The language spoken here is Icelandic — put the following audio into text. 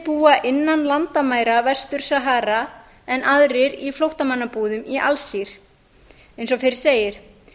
búa innan landamæra vestur sahara en aðrir í flóttamannabúðum í alsír eins og fyrr segir